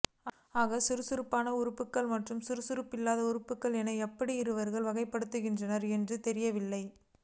ஆக சுறுசுறுப்பான உறுப்பினர்கள் மற்றும் சுறுசுறுப்பில்லாத உறுப்பினர்கள் என எப்படி இவர்கள் வகைபடுத்துகிறார்கள் என்றுத் தெரியவில்லை